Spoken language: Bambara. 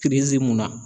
Kerezi mun na